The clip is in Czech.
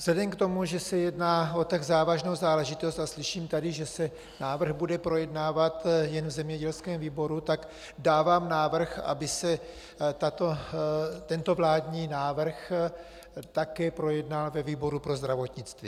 Vzhledem k tomu, že se jedná o tak závažnou záležitost a slyším tady, že se návrh bude projednávat jen v zemědělském výboru, tak dávám návrh, aby se tento vládní návrh také projednal ve výboru pro zdravotnictví.